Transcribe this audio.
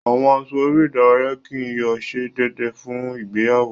Awọn aṣọ ere idaraya kii yóò ṣe deede fun igbeyawo